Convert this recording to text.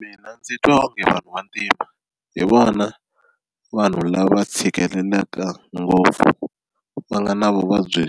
Mina ndzi twa onge vanhu va ntima hi vona vanhu lava tshikelelaka ngopfu va nga na vuvabyi